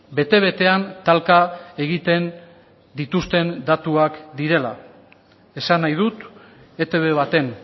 bete betean talka egiten dituzten datuak direla esan nahi dut etb baten